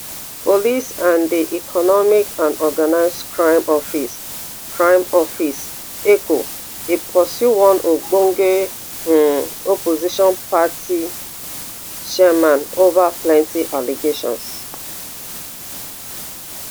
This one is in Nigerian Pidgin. police and di economic and organised crime office crime office eoco dey pursue one ogbonge um opposition party chairman ova plenti allegations